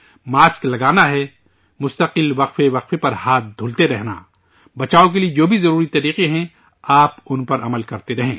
mask لگانا، وقفہ وقفہ پر ہاتھ دھوتے رہنا، بچاؤ کے لیے جو بھی ضروری طریقے ہیں، آپ ان پر عمل کرتے رہیں